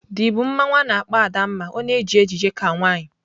The bụ mmanwu a na-akpọ Adanma ọ na-eji ejiji ka nwanyị.